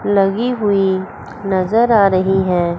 लगी हुई नजर आ रही हैं।